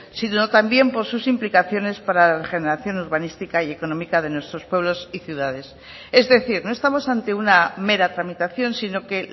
sino también por sus implicaciones para la regeneración urbanística y económica de nuestros pueblos y ciudades es decir no estamos ante una mera tramitación si no que